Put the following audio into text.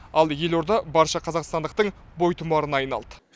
ал елорда барша қазақстандықтың бойтұмарына айналды